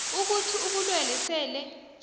ukuthi ubulwelwe sele